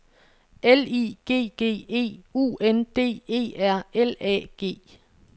L I G G E U N D E R L A G